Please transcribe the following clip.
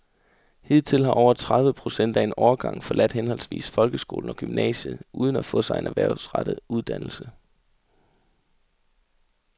Hidtil har over tredive procent af en årgang forladt henholdsvis folkeskolen og gymnasiet uden at få sig en erhvervsrettet uddannelse.